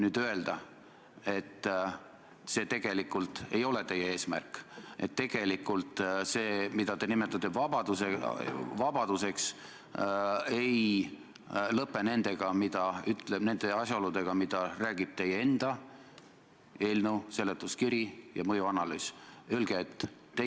On selge, et loomulikult ei ole meie mitmesuguste sihtgruppide, huvigruppide esindusorganisatsioonid ühiskonnas nii jõukad või ei ole neil nii palju ressursse, et nad suudaksid jälgida kõike, mis valitsussektoris toimub, kaasa arvatud seadusloome detaile.